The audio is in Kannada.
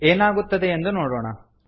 ಏನಾಗುತ್ತದೆ ಎಂದು ನೋಡೋಣ